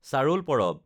চাৰুল পৰৱ